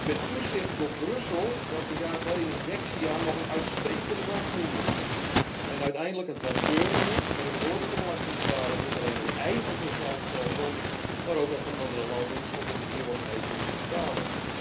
Met toezicht door Brussel, dat een jaar geleden Dexia nog een uitstekende bank noemde! En uiteindelijk een transferunie waarin de noordelijke belastingbetalers niet alleen hun eigen sociaal stelsel, maar ook dat van andere landen tot in de eeuwigheid moeten betalen.